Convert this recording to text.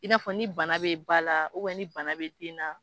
I n'a fɔ ni bana bɛ ba la ni bana bɛ den na.